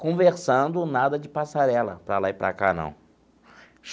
Conversando, nada de passarela para lá e para cá, não.